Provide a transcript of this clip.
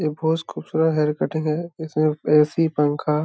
ये बहुत खूबसूरत हेयर कटिंग है इसमें ऐसी पंखा --